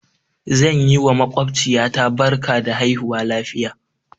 Zan yi wa maƙwabciya ta barka da haihuwa lafiya.